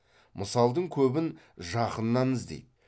мысалдың көбін жақыннан іздейді